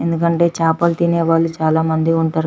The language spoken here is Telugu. ఎందుకంటే చేపలు తినే వాళ్ళు చాల మంది ఉంటారు --